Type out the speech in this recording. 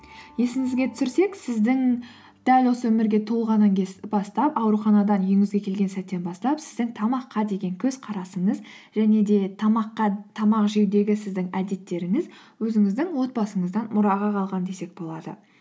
есіңізге түсірсек сіздің дәл осы өмірге туылғаннан бастап ауруханадан үйіңізге келген сәттен бастап сіздің тамаққа деген көзқарасыңыз және де тамақ жеудегі сіздің әдеттеріңіз өзіңіздің отбасыңыздан мұраға қалған десек болады